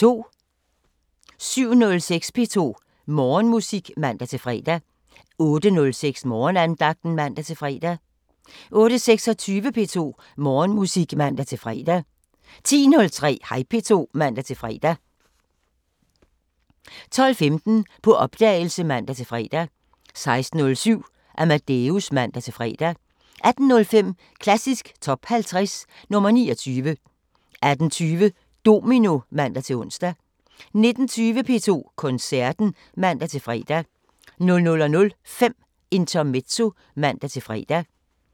07:06: P2 Morgenmusik (man-fre) 08:06: Morgenandagten (man-fre) 08:26: P2 Morgenmusik (man-fre) 10:03: Hej P2 (man-fre) 12:15: På opdagelse (man-fre) 16:07: Amadeus (man-fre) 18:05: Klassisk Top 50 – nr. 29 18:20: Domino (man-ons) 19:20: P2 Koncerten (man-fre) 00:05: Intermezzo (man-fre)